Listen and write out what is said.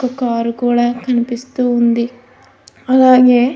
ఒక కారు కూడా కనిపిస్తూ ఉంది. అలాగే --